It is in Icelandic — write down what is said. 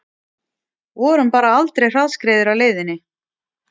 Vorum bara aldrei hraðskreiðir á leiðinni